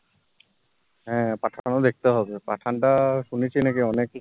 হেঁ pathan উ দেখতে হবে, pathan টা শুনেছি নাকি অনেক হি